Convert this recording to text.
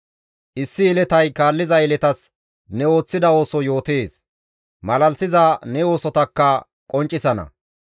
Issi yeletay kaalliza yeletas ne ooththida ooso yootees; malalisiza ne oosotakka qonccisana.